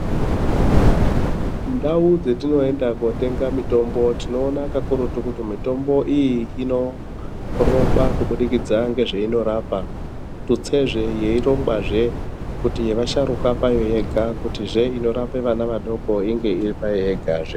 Ndau dzetinoenda kotenga mitombo tino ona kakurutu kuti mitombo iyi inorongwa kubudikidza ngezveino rapa tutsezve yeirongwazve kuti yeva sharuka payo yega kutizve inorape vana vadoko inge iri payo yega zve.